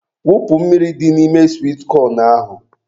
Wụpụ mmiri dị n'ime swit kọn ahụ.